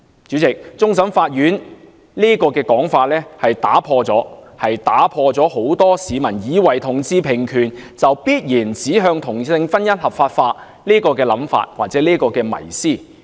主席，終審法院上述的說法，打破了很多市民以為同志平權便必然指向同性婚姻合法化的迷思。